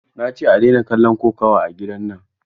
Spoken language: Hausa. Na ce a daina kallon kokawa a gidan nan!